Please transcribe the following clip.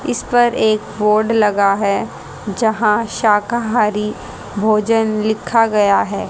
इसपर एक बोर्ड लगा है जहाँ शाकाहारी भोजन लिखा गया है।